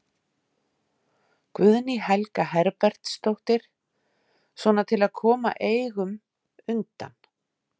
Guðný Helga Herbertsdóttir: Svona til að koma eignum undan?